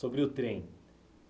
o trem.